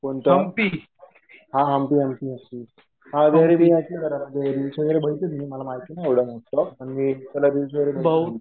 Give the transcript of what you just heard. कोणतं? हा हंपी हंपी हंपी. हा ते मी ऐकलंय जरा. ते रिल्स वगैरे बघितले मी. मला माहिती नाही एवढं पण मी रिल्स वगैरे